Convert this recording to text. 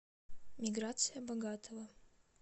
миграция богатова